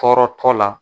Tɔɔrɔtɔ la